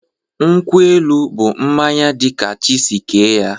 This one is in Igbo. Nkwụ-elụ bụ mmañya di ka chi si kee ya